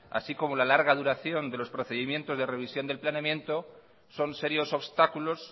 así como la larga duración de los procedimientos de revisión del planeamiento son serios obstáculos